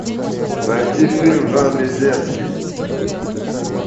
найти фильм в жанре детский